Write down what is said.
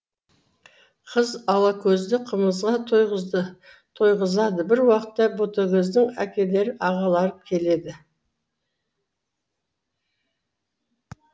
қыз алакөзді қымызға тойғызады бір уақытта ботакөздің әкелері ағалары келеді